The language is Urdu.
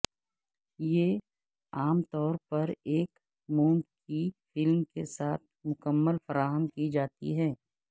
یہ عام طور پر ایک موم کی فلم کے ساتھ مکمل فراہم کی جاتی ہے